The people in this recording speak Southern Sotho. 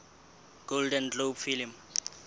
golden globe film